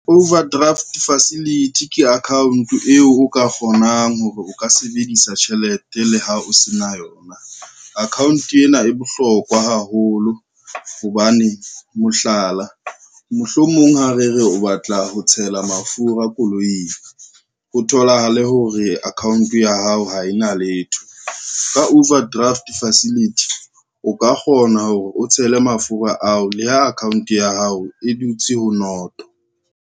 Overdraft facility ke account eo o ka kgonang hore o ka sebedisa tjhelete le ha o se na yona. Account ena e bohlokwa haholo hobane mohlala, mohlomong ha re re o batla ho tshela mafura koloing, ho tholahale hore account ya hao ha e na letho, ka overdraft facility o ka kgona hore o tshele mafura ao le ha account ya hao e dutse ho noto.